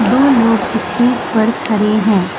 दो लोग स्टेज पर खड़े हैं।